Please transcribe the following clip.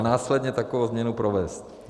- a následně takovou změnu provést.